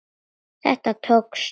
Þetta tókst.